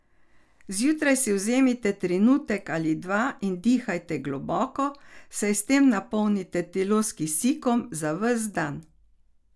Zjutraj si vzemite trenutek ali dva in dihajte globoko, saj s tem napolnite telo s kisikom za ves dan.